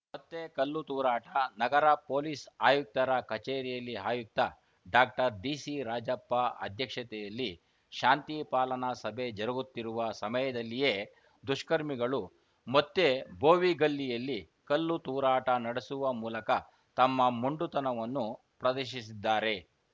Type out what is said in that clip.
ಮತ್ತೆ ಕಲ್ಲು ತೂರಾಟ ನಗರ ಪೊಲೀಸ್‌ ಆಯುಕ್ತರ ಕಚೇರಿಯಲ್ಲಿ ಆಯುಕ್ತ ಡಾಕ್ಟರ್ಡಿಸಿರಾಜಪ್ಪ ಅಧ್ಯಕ್ಷತೆಯಲ್ಲಿ ಶಾಂತಿ ಪಾಲನಾ ಸಭೆ ಜರುಗುತ್ತಿರುವ ಸಮಯದಲ್ಲಿಯೇ ದುಷ್ಕರ್ಮಿಗಳು ಮತ್ತೆ ಬೋವಿಗಲ್ಲಿಯಲ್ಲಿ ಕಲ್ಲು ತೂರಾಟ ನಡೆಸುವ ಮೂಲಕ ತಮ್ಮ ಮೊಂಡುತನವನ್ನು ಪ್ರದರ್ಶಿಸಿದ್ದಾರೆ